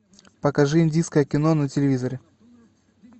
покажи индийское кино на телевизоре